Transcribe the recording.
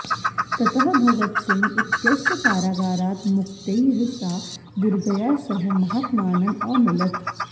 ततः भगत सिंह इत्यस्य कारागारात् मुक्त्यै सा दुर्गया सह महात्मानम् अमिलत्